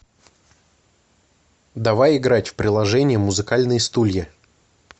давай играть в приложение музыкальные стулья